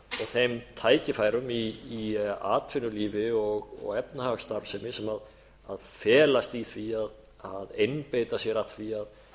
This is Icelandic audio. þeim tækifærum í atvinnulífi og efnahagsstarfsemi sem felast í því að einbeita sér að því að